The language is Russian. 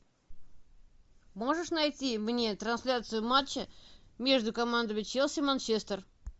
можешь найти мне трансляцию матча между командами челси манчестер